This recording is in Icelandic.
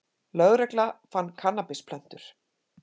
Lögregla fann kannabisplöntur